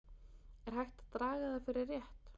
Er hægt að draga það fyrir rétt?